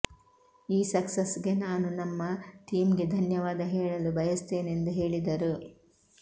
ಈ ಸಕ್ಸಸ್ಗೆ ನಾನು ನಮ್ಮ ಟೀಂಗೆ ಧನ್ಯವಾದ ಹೇಳಲು ಬಯಸುತ್ತೇನೆಂದು ಹೇಳಿದರು